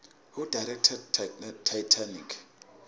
who directed titanic